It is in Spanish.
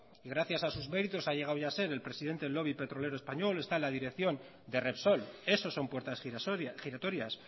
gracias a sus méritos ha llegado ya a ser el presidente del lobby petrolero español está en la dirección de repsol eso son puertas giratorias